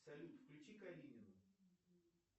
салют включи калинину